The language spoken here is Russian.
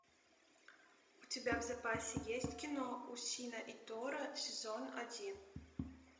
у тебя в запасе есть кино усио и тора сезон один